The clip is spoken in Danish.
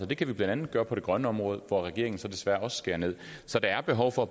det kan vi blandt andet gøre på det grønne område hvor regeringen så desværre også skærer nederst så der er behov for